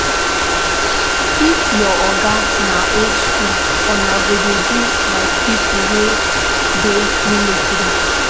If your oga na old skool, una go dey do like pipo wey dey military.